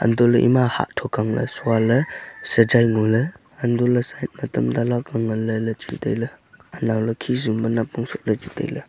antoh le ema hah thok ang le sua le sajai ngo le antoh le side ma tamta lakka ngan le le chu taile anao le khisum pe napong soh le le chu taile.